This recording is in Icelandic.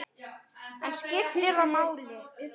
En skiptir það máli?